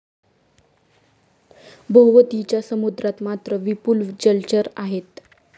भोवतीच्या समुद्रात मात्र विपुल जलचर आहेत.